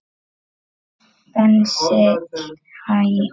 Hugur minn róaðist hjá þér.